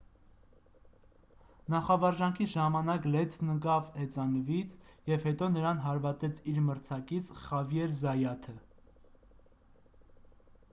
նախավարժանքի ժամանակ լենցն ընկավ հեծանվից և հետո նրան հարվածեց իր մրցակից խավիեր զայաթը